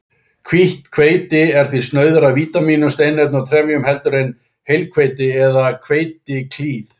Hvítt hveiti er því snauðara af vítamínum, steinefnum og trefjum heldur en heilhveiti eða hveitiklíð.